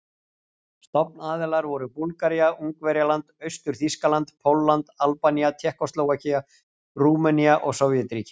Stofnaðilar voru Búlgaría, Ungverjaland, Austur-Þýskaland, Pólland, Albanía, Tékkóslóvakía, Rúmenía og Sovétríkin.